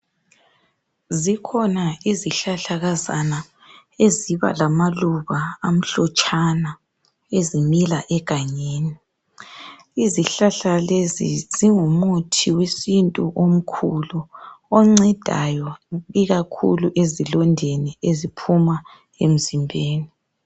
Zikhona izihlahlakazana eziba lamaluba amhlotshana ezimila egangeni , izihlahla lezi zingumuthi wesintu omkhulu oncedayo ikakhulu ezilondeni eziphuma emzimbeni